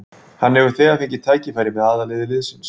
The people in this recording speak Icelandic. Hann hefur þegar fengið tækifæri með aðalliði liðsins.